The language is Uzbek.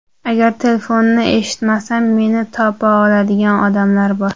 Agar telefonni eshitmasam, meni topa oladigan odamlar bor.